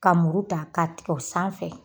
Ka muru ta ka tigɛ o sanfɛ.